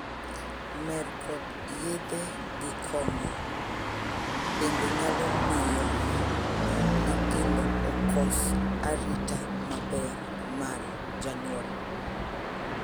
Mer kod yedhe gi kong'o bende nyalo miyo nyithindo kos arita maber mar janyuol.